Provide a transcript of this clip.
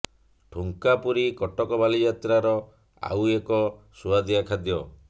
ଠୁଙ୍କା ପୁରୀ କଟକ ବାଲିଯାତ୍ରାର ଆଉ ଏକ ସୁଆଦିଆ ଖାଦ୍ୟ